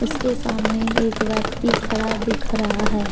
इसके सामने एक व्यक्ति खड़ा दिख रहा है।